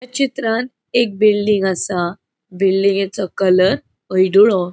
या चित्रांत एक बिल्डिंग आसा. बिल्डिंगेचो कलर हळड़ुळो.